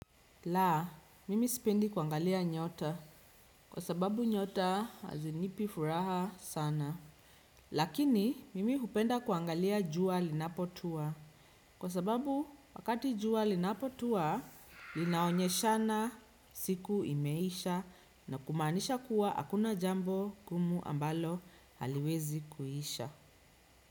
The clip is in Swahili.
Laa, mimi sipendi kuangalia nyota kwa sababu nyota hazinipi furaha sana. Lakini, mimi hupenda kuangalia jua linapotua. Kwa sababu, wakati jua linapotua, linaonyeshana siku imeisha na kumaanisha kuwa hakuna jambo ngumu ambalo haliwezi kuisha.